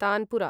tanpura